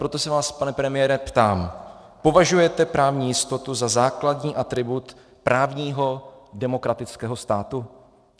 Proto se vás, pane premiére, ptám: Považujete právní jistotu za základní atribut právního demokratického státu?